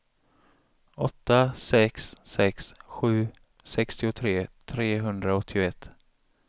åtta sex sex sju sextiotre trehundraåttioett